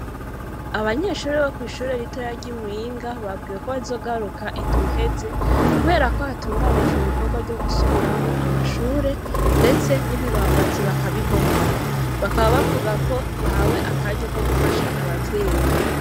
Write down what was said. Abanyeshure bo kw’ishure ritoya ry’i Muyinga, babwiwe ko bazogaruka indwi iheze, kubera ko hatunganijwe ibikorwa vyo gusubiramwo amashure, ndetse n’ibibambazi bakabibomora; bakaba bavuga ko bahawe akaryo ko gufasha abavyeyi.